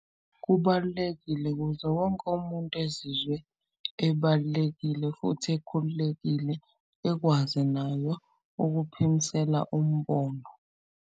Kubalulekile kuze wonke umuntu ezizwe ebalulekile futhi ekhululekile ekwazi ukuphimsela umbono.